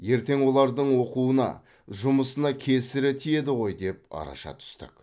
ертең олардың оқуына жұмысына кесірі тиеді ғой деп араша түстік